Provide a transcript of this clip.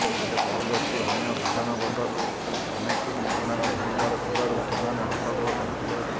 ହେଲେ ବହୁ ଯାତ୍ରୀ ଅନ୍ୟ ବିମାନବନ୍ଦରରୁ କନେକ୍ଟିଙ୍ଗ୍ ବିମାନ ଧରିବାର ଥିବାରୁ ସେମାନେ ହଟ୍ଟଗୋଳ କରିଥିଲେ